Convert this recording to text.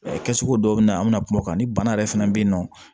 Kɛcogo dɔw bɛ na an bɛna kuma o kan ni bana yɛrɛ fana bɛ yen nɔ